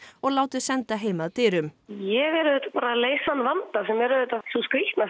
og látið senda heim að dyrum ég er auðvitað bara að leysa þann vanda sem er auðvitað sú skrítna